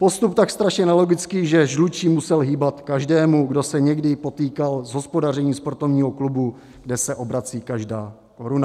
Postup tak strašně nelogický, že žlučí musel hýbat každému, kdo se někdy potýkal s hospodařením sportovního klubu, kde se obrací každá koruna.